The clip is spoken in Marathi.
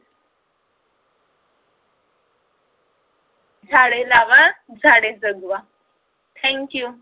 झाडे लावा, झाडे जगवा. thank you